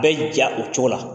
K'a y'i diya o cogo la.